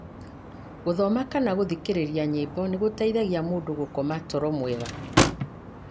gũthoma kana gũthikĩrĩria nyĩmbo nĩ gũteithagia mũndũ gũkoma toro mwega.